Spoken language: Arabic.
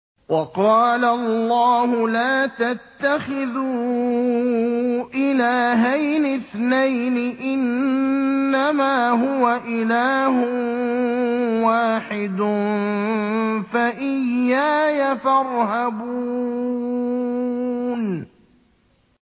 ۞ وَقَالَ اللَّهُ لَا تَتَّخِذُوا إِلَٰهَيْنِ اثْنَيْنِ ۖ إِنَّمَا هُوَ إِلَٰهٌ وَاحِدٌ ۖ فَإِيَّايَ فَارْهَبُونِ